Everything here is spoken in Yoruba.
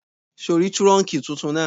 Ṣé ò rí túrọ̀nkì tuntun náà?